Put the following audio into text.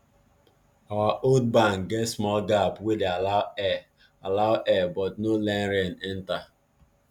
our old barn get small gap wey dey allow air allow air but no let rain enter